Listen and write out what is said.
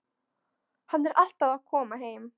Hann er alltaf að koma heim.